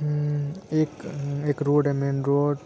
हम एक-एक रोड है मेन रोड